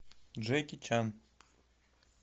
джеки чан